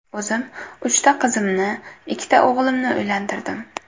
O‘zim uchta qizimni, ikkita o‘g‘limni uylantirdim.